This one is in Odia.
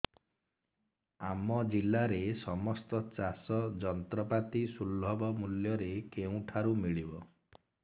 ଆମ ଜିଲ୍ଲାରେ ସମସ୍ତ ଚାଷ ଯନ୍ତ୍ରପାତି ସୁଲଭ ମୁଲ୍ଯରେ କେଉଁଠାରୁ ମିଳିବ